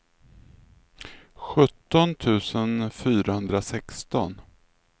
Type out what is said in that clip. sjutton tusen fyrahundrasexton